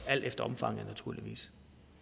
alt efter omfanget naturligvis